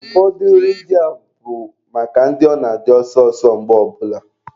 Ụfọdụ nri ndị a bụ maka ndị ọ na-adị ọsọ ọsọ mgbe ọ bụla.